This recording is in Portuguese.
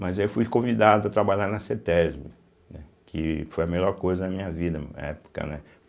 Mas aí eu fui convidado a trabalhar na Cêtésbê, né que foi a melhor coisa da minha vida na época, né?